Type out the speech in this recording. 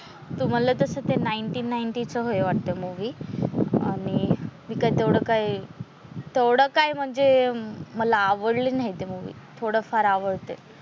तुम्हाला तस ते नाईंटीन नाईनटी च हे वाटत मूवी आणि मी काय तेवढं काही तेवढं काय म्हणजे मला आवडली नाही ती मूवी थोडंफार आवडते.